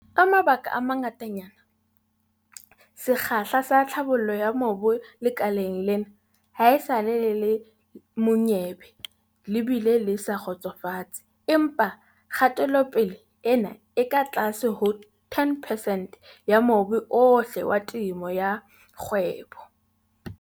Ka mabaka a mangatanyana, sekgahla sa tlhabollo ya mobu lekaleng lena haesale le le monyebe le bile le sa kgotsofatse. Empa kgatelopele ena e ka tlase ho 10 percent ya mobu ohle wa temo ya kgwebo.